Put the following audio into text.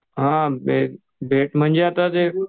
हां भेट म्हणजे ते